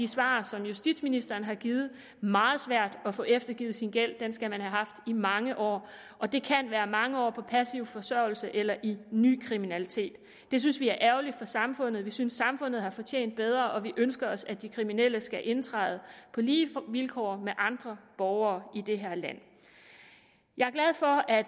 svar som justitsministeren har givet meget svært at få eftergivet sin gæld den skal man have haft i mange år og det kan være mange år på passiv forsørgelse eller i en ny kriminalitet det synes vi er ærgerligt for samfundet vi synes at samfundet har fortjent bedre og vi ønsker os at de kriminelle skal indtræde på lige vilkår med andre borgere i det her land jeg er glad for at